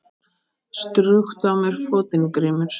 Strjúktu á mér fótinn Grímur.